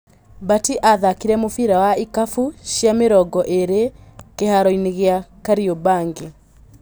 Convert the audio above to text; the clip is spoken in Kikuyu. Batĩ athakire mũbira wa ikabũ cia mĩ rongo ĩ rĩ kĩ haroinĩ gĩ a Kariombangi.